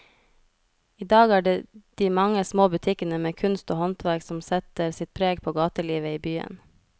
I dag er det de mange små butikkene med kunst og håndverk som setter sitt preg på gatelivet i byen.